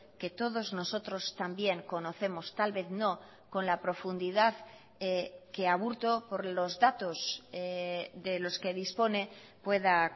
que todos nosotros también conocemos tal vez no con la profundidad que aburto por los datos de los que dispone pueda